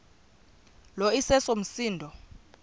lo iseso msindo